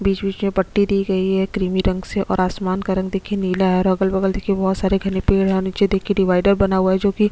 बीच -बीच में पट्टी दी गई है क्रीमी रंग से और आसमान का रंग देखिए नीला है और अगल- बगल देखिए बोहोत सारे घने पेड़ है और नीचे देखिए डिवाइडर बना हुआ है जोकि --